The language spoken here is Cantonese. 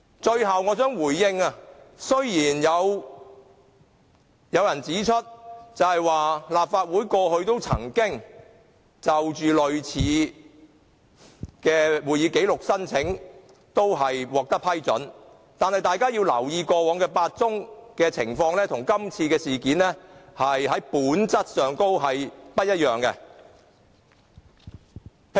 最後，我想回應，雖然有人指出，過去提出索取類似會議紀錄的申請也獲得批准，但大家要留意，過去8宗情況跟今次事件在本質上不一樣。